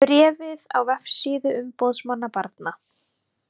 Bréfið á vefsíðu umboðsmanns barna